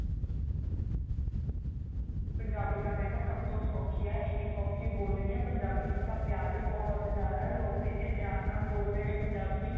ਪੰਜਾਬੀ ਤਾਂ ਮੈਂ ਕਿਹਾ ਸਭ ਤੋ ਸੋਖੀ ਏ ਇੰਨੀ ਸੋਖੀ ਬੋਲਣੀ ਏ ਪੰਜਾਬੀ ਚ ਤਾਂ ਪਿਆਰ ਹੀ ਬਹੁਤ ਜਿਆਦਾ ਲੋਕ ਇੰਨੇ ਪਿਆਰ ਨਾਲ ਬੋਲਦੇ ਨੇ ਪੰਜਾਬੀ